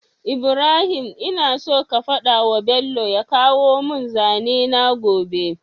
Ibrahim ina so ka fadawa bello ya kawo mun zane na gobe